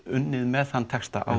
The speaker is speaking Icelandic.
unnið með þann texta á